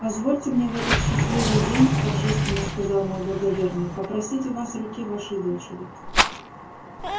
позвольте мне в этот счастливый день торжественно сказал мой благоверный попросить у вас руки вашей дочери